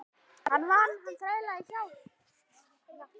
Hann vann, hann þrælaði hjá